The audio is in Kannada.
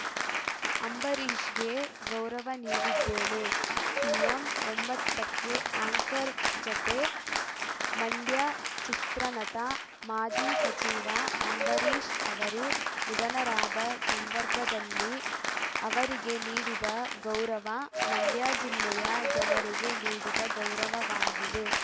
ಅಂಬರೀಷ್‌ಗೆ ಗೌರವ ನೀಡಿದ್ದೇನೆ ಸಿಎಂ ಒಂಬತ್ತಕ್ಕೆ ಆ್ಯಂಕರ್‌ ಜತೆ ಮಂಡ್ಯ ಚಿತ್ರನಟ ಮಾಜಿ ಸಚಿವ ಅಂಬರೀಷ್‌ ಅವರು ನಿಧನರಾದ ಸಂದರ್ಭದಲ್ಲಿ ಅವರಿಗೆ ನೀಡಿದ ಗೌರವ ಮಂಡ್ಯ ಜಿಲ್ಲೆಯ ಜನರಿಗೆ ನೀಡಿದ ಗೌರವವಾಗಿದೆ